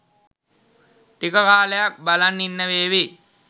ටික කාලයක් බලන් ඉන්න වේවි.